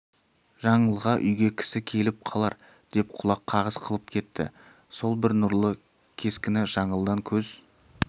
жаңылға үйге кісі келіп қалар деп құлақ қағыс қылып кетті сол бір нұрлы кескіні жаңылдың көз